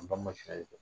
An ba masiriya ye